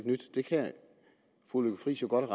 nyt det kan fru lykke friis jo godt